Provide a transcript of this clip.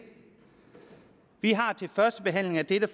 vi har til førstebehandlingen af dette